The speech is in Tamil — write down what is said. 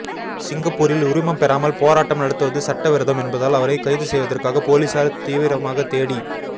சிங்கப்பூரில் உரிமம் பெறாமல் போராட்டம் நடத்துவது சட்டவிரோதம் என்பதால் அவரை கைது செய்யவதற்காக போலீசார் தீவிரமாக தேடி